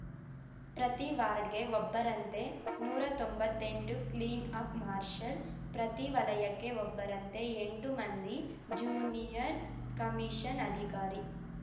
ಪ್ರತಿ ವಾರ್ಡ್‌ಗೆ ಒಬ್ಬರಂತೆ ನೂರಾ ತೊಂಬತ್ತೆಂಟು ಕ್ಲೀನ್‌ ಅಪ್‌ ಮಾರ್ಷಲ್‌ ಪ್ರತಿ ವಲಯಕ್ಕೆ ಒಬ್ಬರಂತೆ ಎಂಟು ಮಂದಿ ಜೂನಿಯರ್‌ ಕಮಿಷನ್‌ ಅಧಿಕಾರಿ